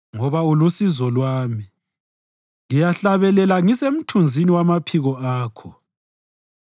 Ngoba ulusizo lwami, ngiyahlabelela ngisemthunzini wamaphiko Akho.